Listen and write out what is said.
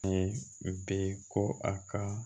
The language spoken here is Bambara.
bɛ ko a ka